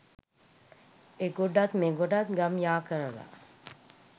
එගොඩත් මෙගොඩත් ගම් යා කරලා